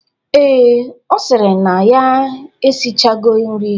Ee, Ọ sịrị na ya eshichago nri.